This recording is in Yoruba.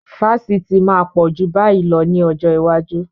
Fásitì máa pọ̀ ju báyìí lọ ní ọjọ́ iwájú.